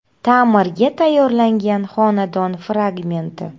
Ta’mirga tayyorlangan xonadon fragmenti.